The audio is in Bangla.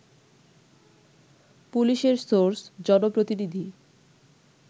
পুলিশের সোর্স, জনপ্রতিনিধি